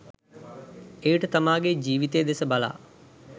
එවිට තමාගේ ජිවිතය දෙස බලා